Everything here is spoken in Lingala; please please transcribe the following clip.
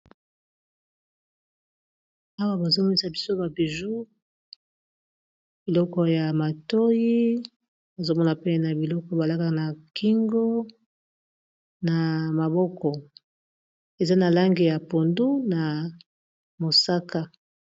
Awa bazomomisa biso ba buju, biloko ya matoyi bazomona pe na biloko balaka na kingo na maboko eza na lange ya pondu, na mosaka.